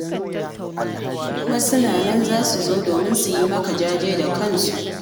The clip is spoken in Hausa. Kuma suna nan za su zo domin su yi maka jaje da kansu.